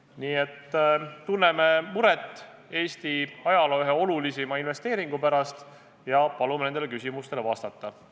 Nii et me tunneme muret Eesti ajaloo ühe olulisima investeeringu pärast ja palume nendele küsimustele vastata.